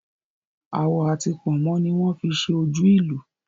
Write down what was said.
Awọ ati pònmó ni wón fi ṣe ojú ìlù